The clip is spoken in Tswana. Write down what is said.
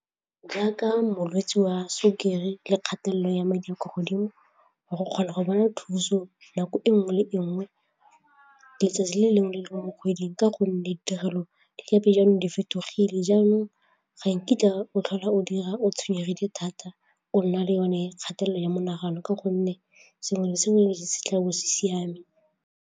Jaaka molwetsevwa sukiri le kgatelelo ya madi a kwa godimo wa go kgona go bona thuso nako e nngwe le e nngwe, letsatsi le lengwe le lengwe mo kgweding ka gonne ditirelo lepe jaanong di fetogile jaanong ga nkitla o tlhola o dira o tshwenyegile thata o nna le yone kgatelelo ya menagano ka gonne sengwe le sengwe se tla bo siame.